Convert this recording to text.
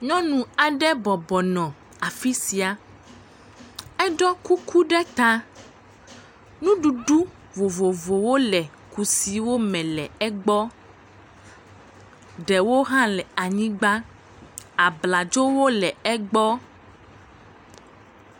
Nyɔnu aɖe bɔbɔ nɔ afi sia. Eɖɔ kuku ɖe ta. Nuɖuɖu vovovowo le kusiwo me le egbɔ. Ɖewo hã le anyigba. Abladzowo le egbɔ.